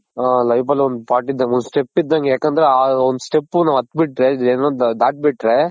ಹಾ life ಅಲ್ಲಿ ಒಂದ್ part ಇದ್ದಂಗೆ ಒಂದ್ step ಇದ್ದಂಗೆ ಯಾಕಂದ್ರೆ ಆ ಒಂದು ಆ ಒಂದ್ step ನಾವ್ ಹತ್ ಬಿಟ್ರೆ ಏನು ದಾಟಿ ಬಿಟ್ರೆ